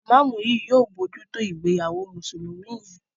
imamu yí yóò bojuto ìgbéyàwó Mùsùlùmí yén.